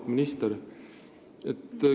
Auväärt minister!